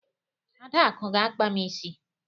Adaku ga-akpa m isi.